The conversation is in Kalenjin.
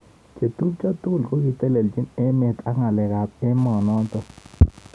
Chetubjo tugul kokiteleljin emet ak ngalek ab emet notok.